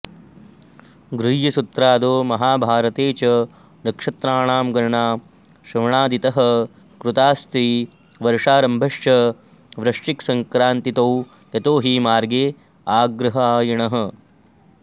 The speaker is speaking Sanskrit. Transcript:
गृह्यसूत्रादौ महाभारते च नक्षत्राणां गणना श्रवणादितः कृताऽस्ति वर्षारम्भश्च वृश्चिकसङ्क्रान्तितो यतो हि मार्ग आग्रहायणः